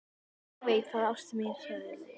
Ég veit það, ástin mín, sagði Lóa.